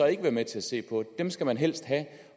ikke være med til at se på dem dem skal man helst have